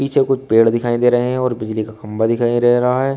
पीछे कुछ पेड़ दिखाई दे रहे हैं और बिजली का खंबा दिखाइ दे रहा है।